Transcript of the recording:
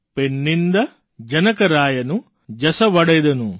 પૈણ્ણિન્દા જનકરાયનુ જસવડેદનુ